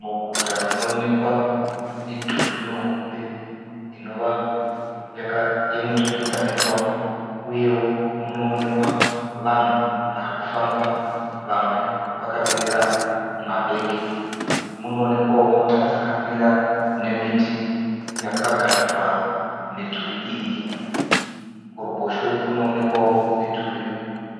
Muguta munoonekwa midhuri mihombe inova yemuturikidzaniswa , uyewo munoonekwa vanhu varikufamba vamwe vakabereka mabhegi. Munoonekwawo mota dzakamira nemiti yakaganhura midhuri iyi. Kuruboshwe kunookwawo midhuri